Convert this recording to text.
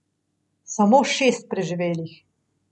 Samo šest preživelih.